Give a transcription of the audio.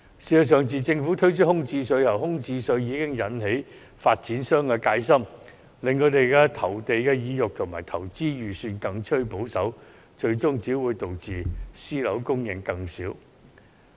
事實上，自政府提出空置稅後，已引起發展商的戒心，令他們的投地意欲及投資預算更趨保守，最終只會導致私樓供應量更少。